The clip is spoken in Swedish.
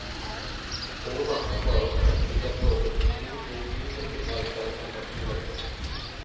På med masken bara och sätt dig i garderoben med en god bok minst en timme varje kväll, ända till julafton.